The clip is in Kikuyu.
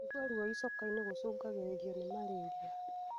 Kũigua ruo icokainĩ gũcungagĩrĩrio ni malaria.